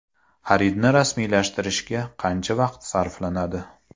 Xaridni rasmiylashtirishga qancha vaqt sarflanadi?